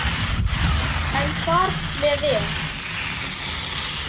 En þar með er